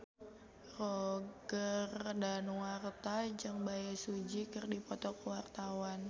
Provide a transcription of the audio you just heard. Roger Danuarta jeung Bae Su Ji keur dipoto ku wartawan